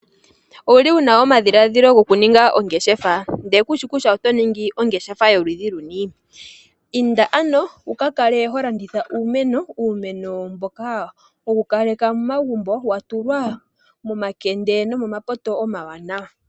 Ouli wuna omadhilaadhilo goku ninga ondeshefa , ndele kushi kutya oto ningi ongeshefa yoludhi luni ? Inda ano wu ka kale ho landitha uumeno . Uumeno mboka wo ku kaleke mo mogumbo wa tulwa momakende no mo mapoto omawanawa .